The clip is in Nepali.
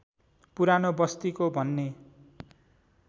पुरानो बस्तिको भन्ने